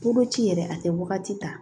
Koloci yɛrɛ a tɛ wagati ta